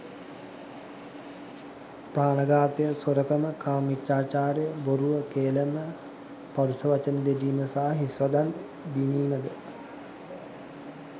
ප්‍රාණඝාතය, සොරකම, කාමමිථ්‍යාචාරය, බොරුව, කේළම, ඵරුෂ වචන දෙඩීම හා හිස් වදන් බිණීම ද